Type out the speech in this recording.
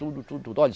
Tudo, tudo, tudo.